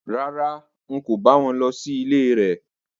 Rárá, n kò bá wọn lọ sí ilé rẹ̀